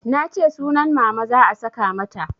Nace sunan Mama za a saka mata